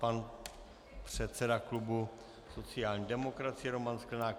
Pan předseda klubu sociální demokracie Roman Sklenák.